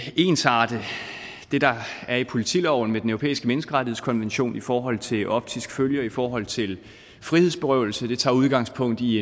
ensarte det der er i politiloven med den europæiske menneskerettighedskonvention i forhold til optisk følge og i forhold til frihedsberøvelse det tager udgangspunkt i